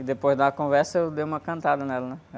E depois da uma conversa, eu dei uma cantada nela, né?